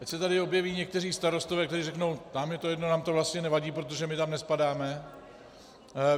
Teď se tady objeví někteří starostové, kteří řeknou: nám je to jedno, nám to vlastně nevadí, protože my tam nespadáme.